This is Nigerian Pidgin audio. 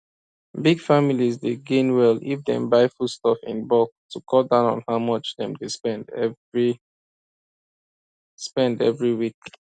big families dey gain well if dem buy foodstuff in bulk to cut down how much dem dey spend every spend every week